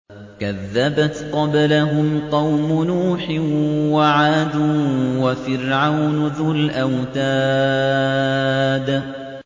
كَذَّبَتْ قَبْلَهُمْ قَوْمُ نُوحٍ وَعَادٌ وَفِرْعَوْنُ ذُو الْأَوْتَادِ